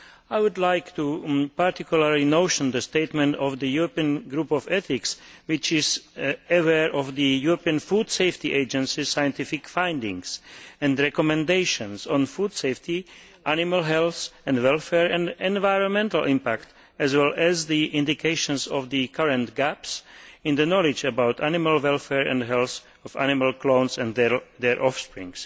I would like to particularly note the statement by the European Group of Ethics, which is aware of the European Food Safety Authority's scientific findings and recommendations on food safety, animal health and welfare and environmental impact, as well as the indications of the current gaps in the knowledge about animal welfare and the health of animal clones and their offspring.